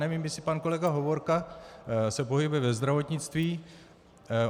Nevím, jestli pan kolega Hovorka se pohybuje ve zdravotnictví.